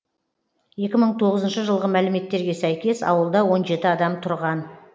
екі мың тоғызыншы жылғы мәліметтерге сәйкес ауылда он жеті адам тұрған